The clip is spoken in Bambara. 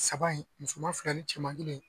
Saba in musoman fila ni cɛman kelen